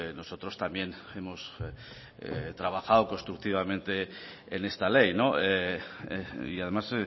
nosotros también hemos trabajado constructivamente en esta ley y además